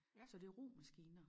Så det romaskiner